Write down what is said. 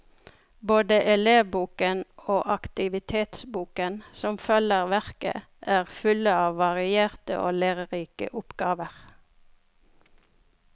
Både elevboken og aktivitetsboken, som følger verket, er fulle av varierte og lærerike oppgaver.